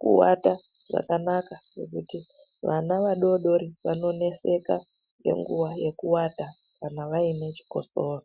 kuwata zvakanaka ngekuti vana vadoodori vanoneseka ngenguwa yekuwata kana vaine chikosoro.